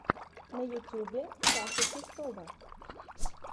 на ютюбе саша чистова